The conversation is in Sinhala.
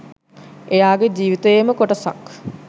එයාගේ ජීවිතයේම කොටසක්.